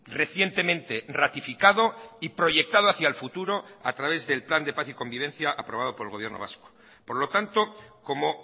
recientemente ratificado y proyectado hacia el futuro a través del plan de paz y convivencia aprobado por el gobierno vasco por lo tanto como